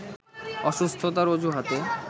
অসুস্থতার অজুহাতে